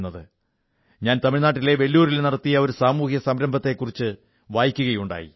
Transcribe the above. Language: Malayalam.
ഞാൻ തമിഴ്നാട്ടിലെ വെല്ലൂരിൽ നടത്തിയ ഒരു സാമൂഹിക സംരംഭത്തെക്കുറിച്ചു വായിക്കയുണ്ടായി